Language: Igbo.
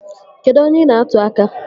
Kedụ onye ị na-atụ aka?